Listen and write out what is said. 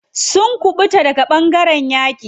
Sun kuɓuta daga ɓangaren yaƙi.